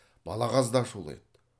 балағаз да ашулы еді